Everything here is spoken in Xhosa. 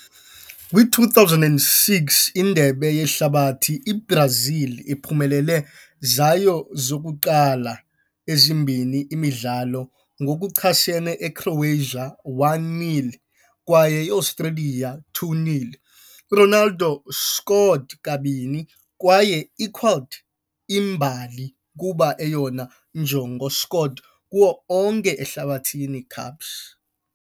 Kwi-2006 Indebe Yehlabathi, i-Brazil uphumelele zayo zokuqala ezimbini imidlalo ngokuchasene eCroatia, 1-0, kwaye iAustralia, 2-0. Ronaldo scored kabini kwaye equalled imbali kuba eyona njongo scored kuwo onke Ehlabathini Cups.